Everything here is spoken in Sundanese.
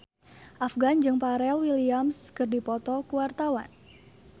Afgan jeung Pharrell Williams keur dipoto ku wartawan